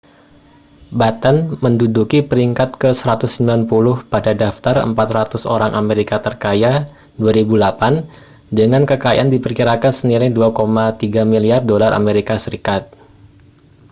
batten menduduki peringkat ke-190 pada daftar 400 orang amerika terkaya 2008 dengan kekayaan diperkirakan senilai 2,3 miliar dolar as